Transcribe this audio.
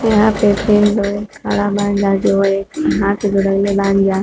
यहाँ पे तीन लोग खड़ा बानी जा जो बानी जा।